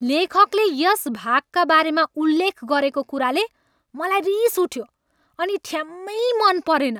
लेखकले यस भागका बारेमा उल्लेख गरेको कुराले मलाई रिस उठ्यो अनि ठ्याम्मै मन परेन।